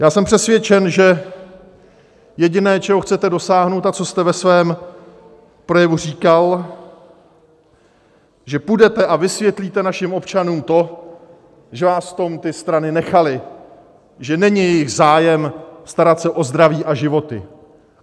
Já jsem přesvědčen, že jediné, čeho chcete dosáhnout, a co jste ve svém projevu říkal, že půjdete a vysvětlíte našim občanům to, že vás v tom ty strany nechaly, že není jejich zájem starat se o zdraví a životy.